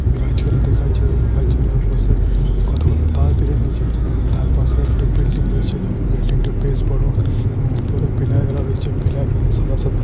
গাছগুলা দেখাচ্ছে। এবং গাছগালার পাশে কতগুলো তার । তার পাশে একটা বিল্ডিং রয়েছে । বিল্ডিং টা বেশ বড়। এবং উপরে পিলার গালা রয়েছে। পিলার গালা সাদা সাদা।